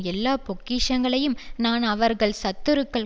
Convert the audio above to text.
எல்லா பொக்கிஷங்களையும் நான் அவர்கள் சத்துருக்கள்